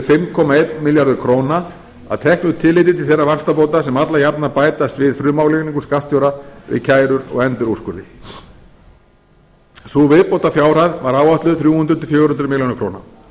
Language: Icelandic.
fimm komma einn milljarður króna að teknu tilliti til þeirra vaxtabóta sem alla jafna bætast við frumálagningu skattstjóra við kærur og endurúrskurði sú viðbótarfjárhæð var áætluð þrjú hundruð til fjögur hundruð milljóna króna